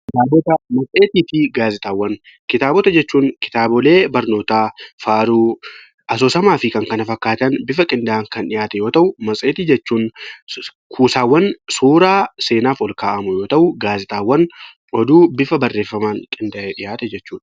Kitaabota matseetii fi gaazexaawwan Kitaabota jechuun kitaabota barnootaa garuu asoosamaa fi kanneen kana fakkaatan kan dhihaate yoo ta'u, matseetiin kuusaawwan seenaaf ol kaa'amu yoo ta'u, gaazexaawwan kan bifa barreeffamaan qindaa'ee barreeffame jechuudha.